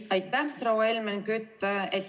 Aitäh, proua Helmen Kütt!